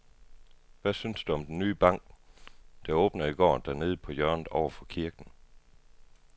Hvad synes du om den nye bank, der åbnede i går dernede på hjørnet over for kirken?